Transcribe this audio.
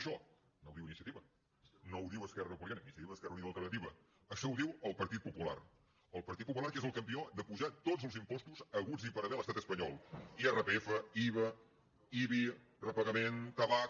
això no ho diu iniciativa esquerra unida i alternativa no ho diu esquerra republicana això ho diu el partit popular el partit popular que és el campió d’apujar tots els impostos haguts i per haver a l’estat espanyol iva ibi repagament tabac